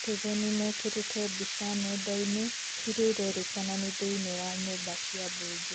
citizen mekĩrĩte mbice nenda-inĩ ,ĩrĩa ĩrerĩkana ni thĩ-inĩ wa nyumba cia mbunge